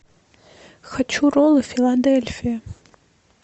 хочу роллы филадельфия